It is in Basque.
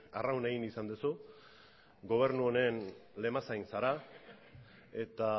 arraun egin izan duzu gobernu honen lemazain zara eta